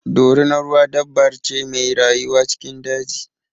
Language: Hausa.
Dorunar ruwa dabbar ce mai rayuwa cikin daji.